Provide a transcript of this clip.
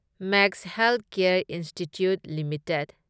max healthcare institute limited